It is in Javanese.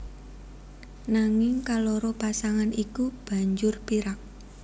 Nanging kaloro pasangan iki banjur pirak